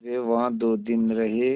वे वहाँ दो दिन रहे